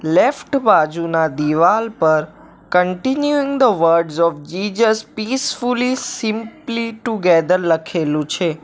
Left બાજુના દિવાલ પર continuing the words of Jesus peacefully simply to gather લખેલું છે.